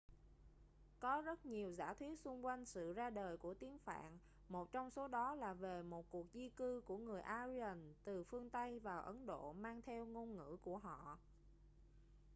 có rất nhiều giả thuyết xung quanh sự ra đời của tiếng phạn một trong số đó là về một cuộc di cư của người aryan từ phương tây vào ấn độ mang theo ngôn ngữ của họ